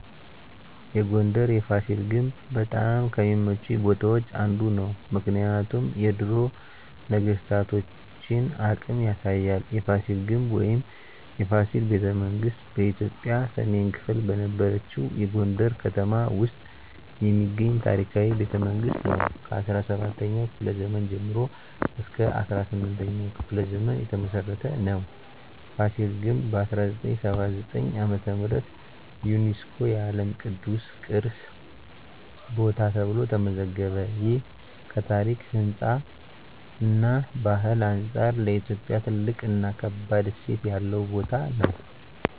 የጎንደር የፋሲል ግንብ በጣም ከሚመቹኝ ቦታዎች አንዱ ነው። ምክንያቱም የድሮ ነገስታቶን አቅም ያሳያል። የፋሲል ግንብ ወይም “የፋሲል ቤተመንግስት ” በኢትዮጵያ ሰሜን ክፍል በነበረችው የጎንደር ከተማ ውስጥ የሚገኝ ታሪካዊ ቤተመንግስት ነው። ከ17ኛው ክፍለ ዘመን ጀምሮ እስከ 18ኛው ክፍለ ዘመን የተመሰረተ ነው። ፋሲል ግንብ በ1979 ዓ.ም. ዩነስኮ የዓለም ቅዱስ ቅርስ ቦታ ተብሎ ተመዘገበ። ይህ ከታሪክ፣ ህንፃ እና ባህል አንጻር ለኢትዮጵያ ትልቅ እና ከባድ እሴት ያለው ቦታ ነው።